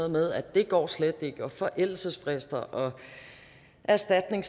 med at det går slet ikke og der er forældelsesfrister og erstatninger